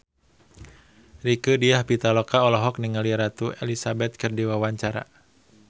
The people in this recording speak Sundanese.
Rieke Diah Pitaloka olohok ningali Ratu Elizabeth keur diwawancara